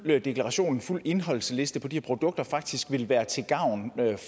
deklaration og en fuld indholdsliste på de her produkter faktisk vil være til gavn